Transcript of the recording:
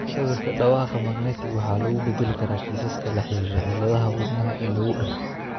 Sawirka dhawaaqa magnetic waxaa lagu bedeli karaa kiisaska la xiriira cilladaha wadnaha ee lagu dhasho.